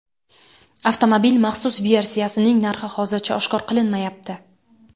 Avtomobil maxsus versiyasining narxi hozircha oshkor qilinmayapti.